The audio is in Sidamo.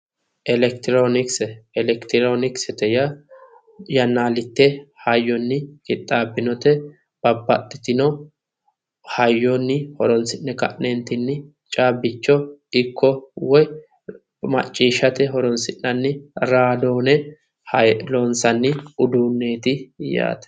Elekitironokise, Elekitironokise yaa yannalite hayyonni qixxaabbinote babbaxitino hayyonni horonsi'ne ka'nentinni kabbicho ikko woyi macciishshate horonsi'nanni raadone hiyile loonsanni uduuneti yaate.